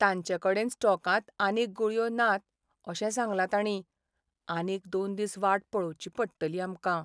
तांचेकडेन स्टॉकांत आनीक गुळयो नात अशें सांगलां तांणी. आनीक दोन दिस वाट पळोवची पडटली आमकां.